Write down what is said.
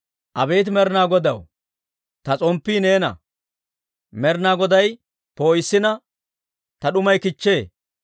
Abeet Med'inaa Godaw, ta s'omppii neena; Med'inaa Goday poo'issina, ta d'umay kichchee.